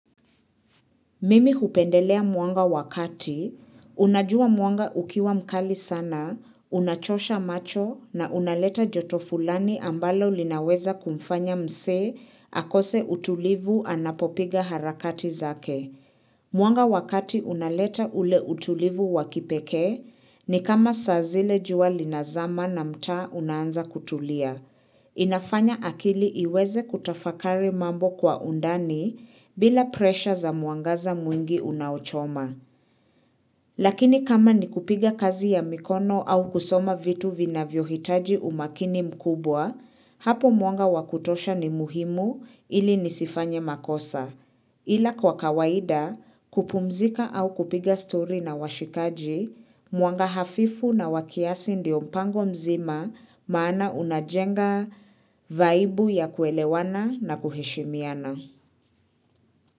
Mimi hupendelea mwanga wakati, unajua mwanga ukiwa mkali sana, unachosha macho na unaleta joto fulani ambalo linaweza kumfanya mse akose utulivu anapopiga harakati zake. Mwanga wakati unaleta ule utulivu wakipekee ni kama saazile jua linazama na mtaa unaanza kutulia. Inafanya akili iweze kutafakari mambo kwa undani bila presha za mwangaza mwingi unaochoma. Lakini kama ni kupiga kazi ya mikono au kusoma vitu vina vyohitaji umakini mkubwa, hapo mwanga wakutosha ni muhimu ili nisifanye makosa. Ila kwa kawaida kupumzika au kupiga story na washikaji, muanga hafifu na wakiasi ndio mpango mzima maana unajenga vaibu ya kuelewana na kuheshimiana.